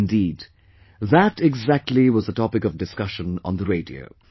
Indeed, that exactly was the topic of discussion on the radio